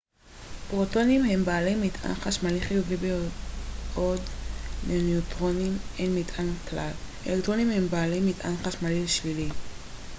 פרוטונים הם בעלי מטען חשמלי חיובי בעוד לנויטרונים אין מטען כלל אלקטרונים הם בעלי מטען חשמלי שלילי